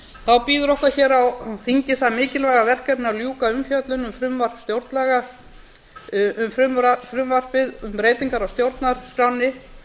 þá bíður okkar hér á þingi það mikilvæga verkefni að ljúka umfjöllun um frumvarpið um breytingar á stjórnarskránni